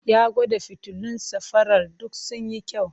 Ya gwada fitilun safarar duk sun yi kyau.